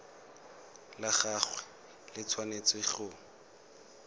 la gagwe le tshwanetse go